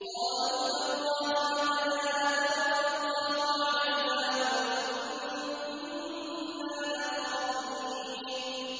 قَالُوا تَاللَّهِ لَقَدْ آثَرَكَ اللَّهُ عَلَيْنَا وَإِن كُنَّا لَخَاطِئِينَ